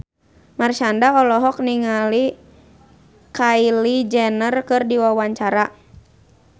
Marshanda olohok ningali Kylie Jenner keur diwawancara